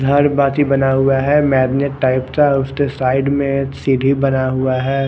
घर बाकि बना हुआ है मैगनेट टाइप का उसके साइड में एक सीढ़ी बना हुआ है।